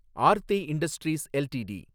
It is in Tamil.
Aarthi industries LTD